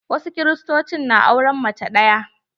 Wasu Kiristocin na auren mace ɗaya.